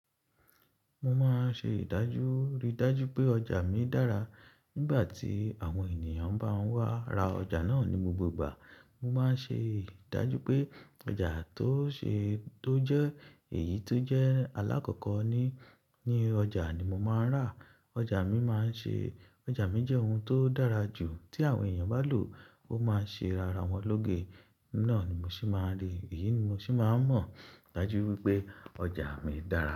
Mo máa ń ṣe ìdájú, rí dájú pé ọjà mi dára. Nígbà tí àwọn ènìyàn bá ń wá ra ọjà náà ní gbogbo ìgbà, mo máa ń ṣe ìdájú pé ọjà tó ṣe tó jẹ́ èyí tó jẹ́ alákọ̀kọ́ ní, ní ọjà ni mo máa ń rà. Ọjà mi máa ń ṣe, ọjà mi jẹ́ ohun tó dára jù. Tí àwọn èèyàn bá lò ó, ó máa ṣe ara wọn lóge. Náà ni mo ṣì máa n rí, iyí ni mo ṣì máa n mọ̀ dájú wípé ọjà mi dára.